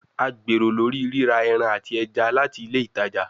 A gbero lori rira ẹran ati ẹja lati ile itaja